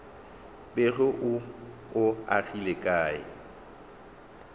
bego o o agile ka